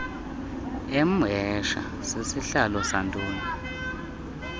emhesha sisihlalo santoni